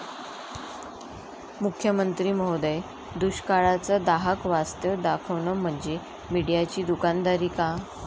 मुख्यमंत्री महोदय, दुष्काळाचं दाहक वास्तव दाखवणं म्हणजे मीडियाची दुकानदारी का?